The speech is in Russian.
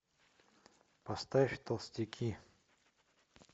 поставь толстяки